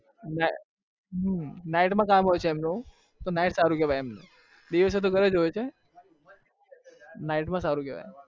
night માં કામ હોય છે એમનું દિવસે તો ઘરે જ હોય છે night માં સારું કેવાય